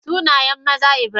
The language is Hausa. Sunayen maza Ibrahim.